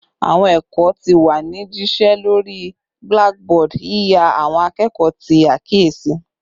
Awọn ẹkọ ti wa ni jišẹ lori blackboard, yiya awọn akẹkọ ti akiyesi